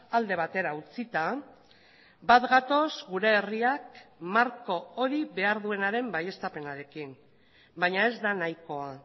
alde batera utzita bat gatoz gure herriak marko hori behar duenaren baieztapenarekin baina ez da nahikoa